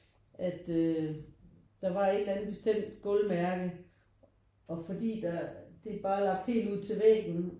At øh der var et eller andet bestemt gulvmærke og fordi der det bare har lagt helt ude til væggen